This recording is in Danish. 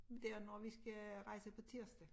Dér når vi skal rejse på tirsdag